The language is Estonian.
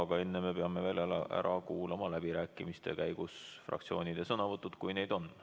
Aga enne peame veel ära kuulama läbirääkimiste käigus fraktsioonide sõnavõtud, kui neid on.